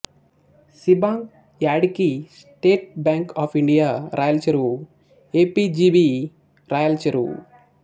C bank Yadiki state bank of India Rayalacheruvu A P G B Rayalacheruvu